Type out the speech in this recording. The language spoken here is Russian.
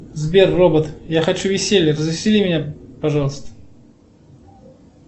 сбер робот я хочу веселья развесели меня пожалуйста